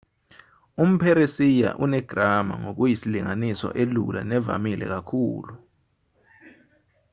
umpheresiya unegrama ngokuyisilinganiso elula nevamile kakhulu